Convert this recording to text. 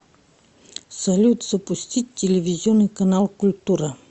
салют запустить телевизионный канал культура